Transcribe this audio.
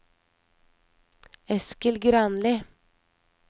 Eskil Granli